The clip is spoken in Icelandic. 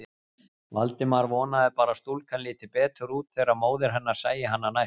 Valdimar vonaði bara að stúlkan liti betur út þegar móðir hennar sæi hana næst.